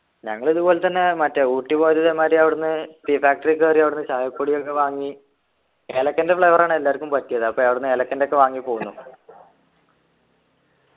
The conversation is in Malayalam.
ഞങ്ങളിതുപോലെതന്നെ മറ്റേ ഊട്ടി പോയത് ഇതേമാതിരി അവിടെന്നു tea factory കേറി അവിട്ന്ന് ചായപൊടിയൊക്കെ വാങ്ങി ഏലക്കൻ്റെ flavor ആണ് എല്ലാര്ക്കും പറ്റിയത് അപ്പൊ അവിടെന്നു ഏലക്കെൻ്റെ ഒക്കെ വാങ്ങി പോന്നു